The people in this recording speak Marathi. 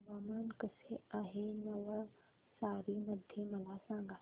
हवामान कसे आहे नवसारी मध्ये मला सांगा